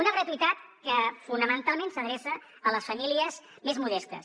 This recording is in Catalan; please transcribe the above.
una gratuïtat que fonamentalment s’adreça a les famílies més modestes